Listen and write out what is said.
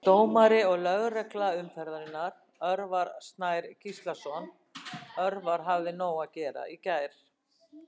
Dómari og lögregla umferðarinnar: Örvar Sær Gíslason Örvar hafði nóg að gera í gær!